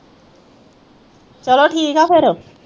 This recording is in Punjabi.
ਚਲੋ ਠੀਕ ਆ ਫਿਰ